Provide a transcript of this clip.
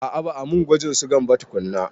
A'a ba a mun gwajin sugan ba tukunna.